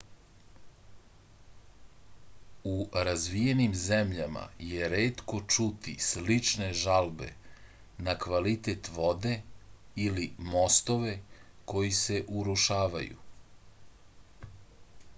u razvijenim zemljama je retko čuti slične žalbe na kvalitet vode ili mostove koji se urušavaju